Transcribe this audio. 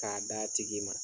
K'a d'a tigi ma